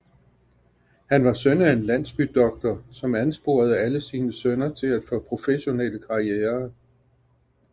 Han var søn af en landsbydoktor som ansporede alle sine sønner til at få professionelle karrierer